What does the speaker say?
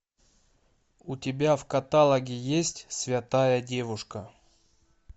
у тебя в каталоге есть святая девушка